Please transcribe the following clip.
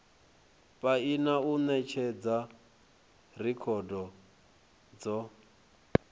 paia u netshedza rekhodo dzo